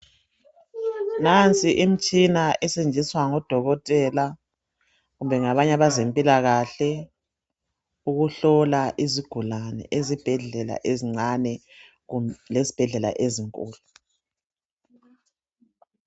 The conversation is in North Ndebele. Nasi imitshina esebenziswa ngodokotela kumbe ngabanye abazempilakahle ukuhlola izigulane ezibhedlela ezincane lezibhedlela ezinkulu.